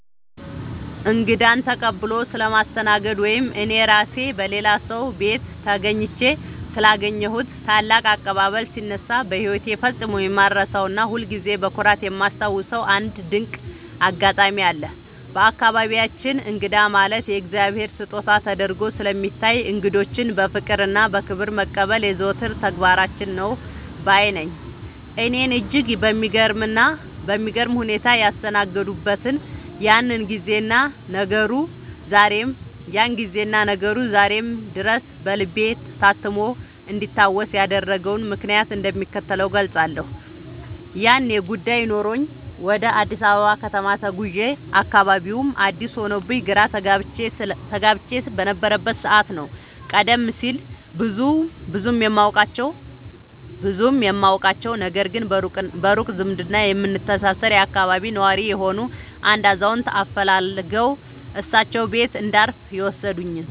እንግዳን ተቀብሎ ስለማስተናገድ ወይም እኔ ራሴ በሌላ ሰው ቤት ተገኝቼ ስላገኘሁት ታላቅ አቀባበል ሲነሳ፣ በሕይወቴ ፈጽሞ የማልረሳውና ሁልጊዜም በኩራት የማስታውሰው አንድ ድንቅ አጋጣሚ አለ። በአካባቢያችን እንግዳ ማለት የእግዚአብሔር ስጦታ ተደርጎ ስለሚታይ፣ እንግዶችን በፍቅርና በክብር መቀበል የዘወትር ተግባራችን ነው ባይ ነኝ። እኔን እጅግ በሚገርም ሁኔታ ያስተናገዱበትን ያንን ጊዜና ነገሩ ዛሬም ድረስ በልቤ ታትሞ እንዲታወስ ያደረገውን ምክንያት እንደሚከተለው እገልጻለሁ፦ ያኔ ጉዳይ ኖሮኝ ወደ አዲስ አበባ ከተማ ተጉዤ፣ አካባቢውም አዲስ ሆኖብኝ ግራ ተጋብቼ በነበረበት ሰዓት ነው፤ ቀደም ሲል ብዙም የማውቃቸው፣ ነገር ግን በሩቅ ዝምድና የምንተሳሰር የአካባቢው ነዋሪ የሆኑ አንድ አዛውንት አፈላልገው እሳቸው ቤት እንዳርፍ የወሰዱኝ።